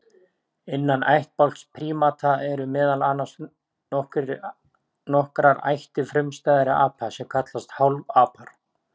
Innan ættbálks prímata eru meðal annars nokkrar ættir frumstæðra apa sem kallast hálfapar.